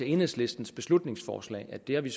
enhedslistens beslutningsforslag at det har vi